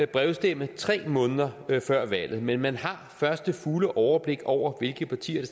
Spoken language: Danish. brevstemme tre måneder før valget men man har først det fulde overblik over hvilke partier